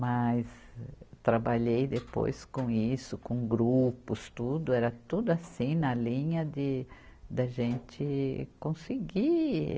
Mas trabalhei depois com isso, com grupos tudo, era tudo assim na linha de, da gente conseguir